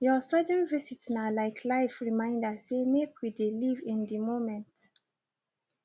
your sudden visit na like life reminder say make we dey live in the moment